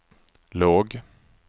låg